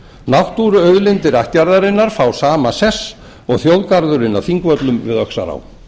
náttúruauðlindir ættjarðarinnar fá sama sess og þjóðgarðurinn á þingvöllum við öxará